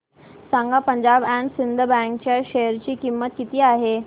सांगा Punjab and Sind bank च्या share ची किंमत किती आहे